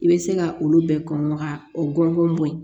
I bɛ se ka olu bɛɛ kɔnbaga o ŋɔni bɔ yen